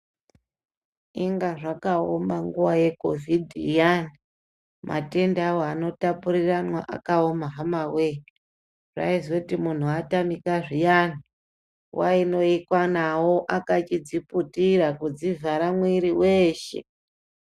Enga zvakaoma nguwa yecovid iyani matenda awo anotapurirwana akaoma hama woye zvaizoita kuti muntu atamika zviyani aintoikwa nawo akazviputira kudzivhara mwiri weshe.